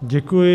Děkuji.